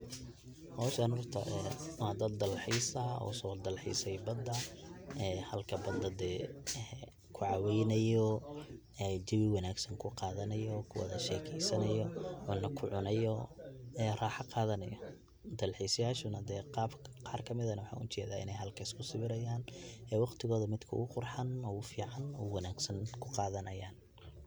howshaneyto waa dad dal xiis ah oo uso dalxiise bada, halka bada dee kucaaweynayo jeebi wanaagsan kuqadanayo kuwadasheekesanayo ona kucunayo ee raaxa qadanayo, dal xiisayashu na qaar kamid eh na waxaan ujeeda inay halka isku sawirayan ee waqtigooda midka ogu qurxan ogu fican ogu wanaagsan kuqaadanayan